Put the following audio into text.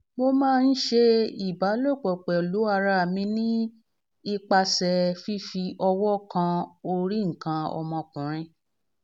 mo ma n se iba lopo pelu ara mi nipase fifi owo kan ori nkan omokunrin